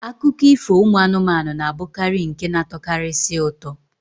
Akụkọ ifo ụmụ anụmanụ na-abụkarị nke na-atọkarisi ụtọ.